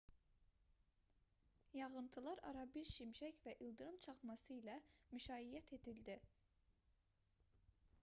yağıntılar arabir şimşək və ildırım çaxması ilə müşayiət edildi